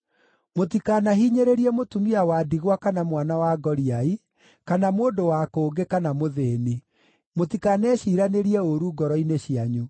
Mũtikanahinyĩrĩrie mũtumia wa ndigwa kana mwana wa ngoriai, kana mũndũ wa kũngĩ, kana mũthĩĩni. Mũtikaneciiranĩrie ũũru ngoro-inĩ cianyu.’